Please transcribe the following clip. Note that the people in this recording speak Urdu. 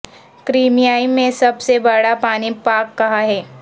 کریمیا میں سب سے بڑا پانی پارک کہاں ہے